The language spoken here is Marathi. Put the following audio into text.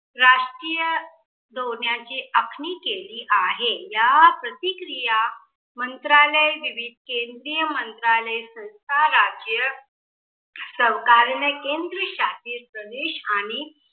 राजकीय दोन्याची आखणी केली आहे. या प्रतिक्रिया मंत्रालय, विविध केंद्रीय मंत्रालय, संस्था राज्य सरकारीय केंद्र शाशित प्रदेश आणि